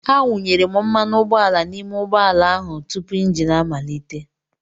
Awụnyere mmanụ ụgbọala n'ime ụgbọ ala ahụ tupu engine amalite.